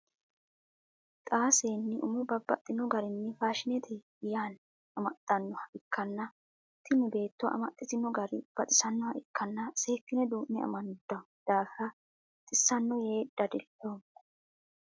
Xaa seenni umo babbaxino garinni faashinete yaanni amaxanoha ikanna tinni beetto amaxitino gari baxisanoha ikanna seekinne duu'ne amandanni daafira xisano yee dadaloomo.